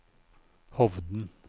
Hovden